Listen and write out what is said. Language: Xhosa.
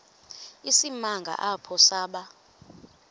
isimanga apho saba